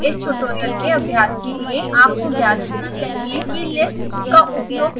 इस ट्यूटोरियल के अभ्यास के लिए आपको ज्ञात होना चाहिए कि lists का उपयोग कैसे करें